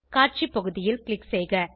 காட்சி பகுதியில் க்ளிக் செய்க